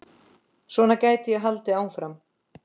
Svona gæti ég haldið áfram.